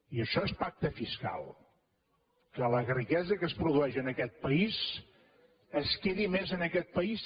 i això és pacte fiscal que la riquesa que es produeix en aquest país es quedi més en aquest país